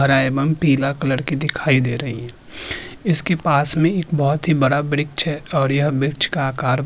हरा एवं पीला कलर की दिखाई दे रही है इसके पास में एक बहोत ही बड़ा वृक्ष है और यह मृछ का आकार --